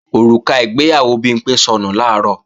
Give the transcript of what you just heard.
Òrùka ìgbéyàwó Bimpé sọnù làárọ̀